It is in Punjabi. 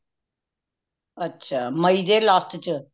ਅੱਛਾ ਮਈ ਦੇ last ਚ